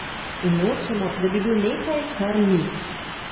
In nočemo, da bi bil nekaj, kar ni.